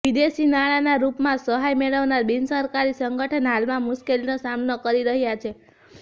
વિદેશી નાણાંના રૂપમાં સહાય મેળવનાર બિનસરકારી સંગઠન હાલમાં મુશ્કેલીનો સામનો કરી રહ્યા છે